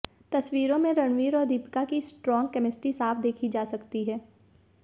तस्वीरों में रणवीर और दीपिका की स्ट्रॉन्ग कैमेस्ट्री साफ देखी जा सकती है